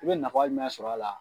I bɛ nafa jumɛn sɔrɔ a la.